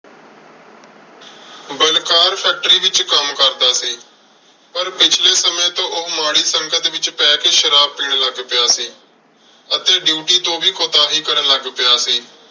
Balkar factory ਵਿੱਚ ਕੰਮ ਕਰਦਾ ਸੀ। ਪਰ ਪਿਛਲੇ ਸਮੇਂ ਤੋਂ ਉਹ ਮਾੜੀ ਸੰਗਤ ਵਿੱਚ ਪੈ ਕੇ ਸ਼ਰਾਬ ਪੀਣ ਲੱਗ ਪਿਆ ਸੀ ਅਤੇ duty ਤੋਂ ਵੀ ਕੁਤਾਹੀ ਕਰਨ ਲੱਗ ਪਿਆ ਸੀ।